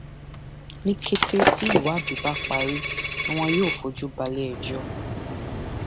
ní kété tí ìwádìí bá parí ni wọn yóò fojú balẹẹjọ